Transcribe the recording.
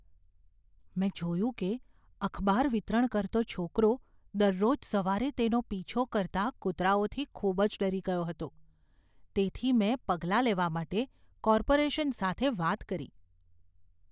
મેં જોયું કે અખબાર વિતરણ કરતો છોકરો દરરોજ સવારે તેનો પીછો કરતા કૂતરાઓથી ખૂબ જ ડરી ગયો હતો. તેથી, મેં પગલાં લેવા માટે કોર્પોરેશન સાથે વાત કરી.